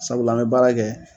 Sabula, an bɛ baara kɛ.